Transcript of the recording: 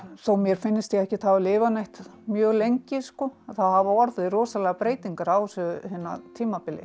þó mér finnist ég ekkert hafa lifað mjög lengi að þá hafa orðið rosalegar breytingar á þessu tímabili